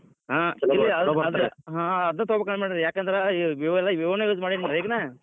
ಹಾ ಅದನ್ ತೊಗೋಬೇಕ್ ಮಾಡೇನ್ರೀ ಯಾಕಂದ್ರ್ Vivo ನ್ use ಮಾಡೇನ್ರೀ ಈಗ್ ನಾ.